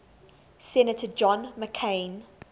senator john mccain